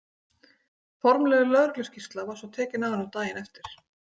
Formleg lögregluskýrsla var svo tekin af honum daginn eftir.